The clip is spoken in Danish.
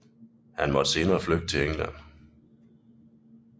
Han måtte senere flygte til England